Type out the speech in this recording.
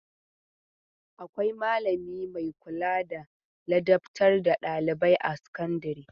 Akwai malami mai kula da ladabtar da ɗailibai a sakandare.